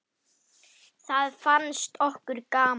Það fannst okkur gaman.